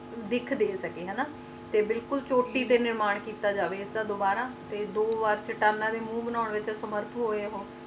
ਦਿੱਖ ਦੇ ਸਕੇ ਤੇ ਬਿਲਕੁਲ ਛੋਟੀ ਤੂੰ ਨਿਰਮਾਣ ਕਿੱਤਿਆਂ ਜਾਵੇ ਦੁਬਾਰਾ ਤੇ ਦੋ ਵਾਰ ਚਿਤਾਨਾ ਦੇ ਮੋਹੁ ਬਾਨਾਂ ਲਈ ਸਮਰਥ ਹੋਇਆ ਆ